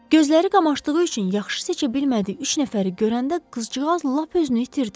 Gözləri qamaşdığı üçün yaxşı seçə bilmədiyi üç nəfəri görəndə qızcığaz lap özünü itirdi.